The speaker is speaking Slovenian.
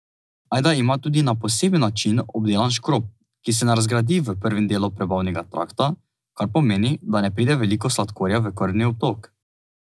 Ajda ima tudi na poseben način obdelan škrob, ki se ne razgradi v prvem delu prebavnega trakta, kar pomeni, da ne pride veliko sladkorja v krvni obtok.